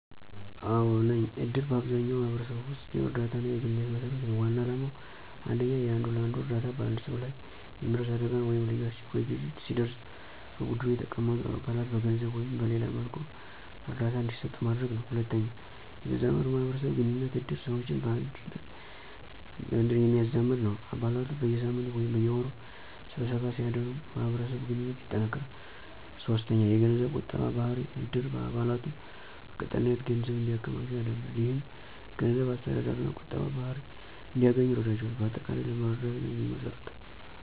አዎ ነኝ፦ እድር በአብዛኛው ማህበረሰብ ውስጥ የእርዳታና የግንኙነት መሰረት ነው። ዋና ዓላማው 1. የአንዱ ለአንዱ እርዳታ በአንድ ሰው ላይ የሚደርስ አደጋ ወይም ልዩ አስቸኳይ ጊዜ ሲደርስ በቡድኑ የተቀመጡ አባላት በገንዘብ ወይም በሌላ መልኩ እርዳታ እንዲሰጡ ማድረግ ነው። 2. የተዛመዱ ማህበረሰብ ግንኙነት እድር ሰዎችን በአንድነት የሚያዛመድ ነው። አባላቱ በየሳምንቱ ወይም በየወሩ ስብሰባ ሲያደርጉ የማህበረሰብ ግንኙነት ይጠናከራል። 3. የገንዘብ ቁጠባ ባህሪ እድር አባላቱን በቀጣይነት ገንዘብ እንዲያከማቹ ያደርጋል። ይህም የገንዘብ አስተዳደርና ቁጠባ ባህሪ እንዲያገኙ ይረዳቸዋል። በአጠቃላይ ለመረዳዳት ነው የሚመሰረተው።